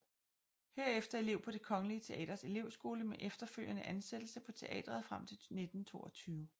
Herefter elev på Det kongelige Teaters elevskole med efterfølgende ansættelse på teatret frem til 1922